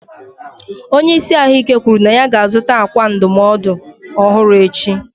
Onye isi ahụike kwuru na ya ga-azụta ákwà ndụmọdụ ọhụrụ echi.